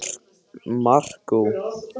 Helst brauð með túnfisksalati.